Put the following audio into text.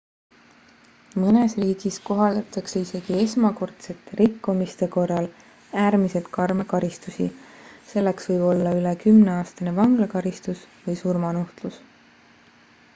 mõnes riigis kohaldatakse isegi esmakordsete rikkumiste korral äärmiselt karme karistusi selleks võib olla üle 10-aastane vanglakaristus või surmanuhtlus